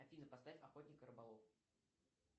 афина поставь охотник и рыболов